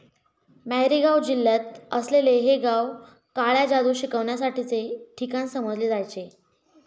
मॅरीगाव जिल्ह्यात असलेले हे गाव काळ्या जादू शिकण्यासाठीचे ठिकाण समजले जायचे.